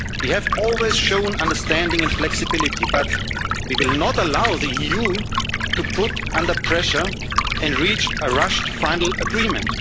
period. We have always shown understanding and flexibility, but we will not allow the EU to be put under pressure and reach a rushed final agreement.